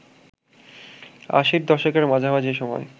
আশির দশকের মাঝামাঝি সময়